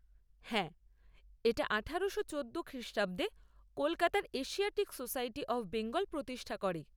হ্যাঁ, এটা আঠারোশো চোদ্দো খ্রিষ্টাব্দে কলকাতার এশিয়াটিক সোসাইটি অফ বেঙ্গল প্রতিষ্ঠা করে।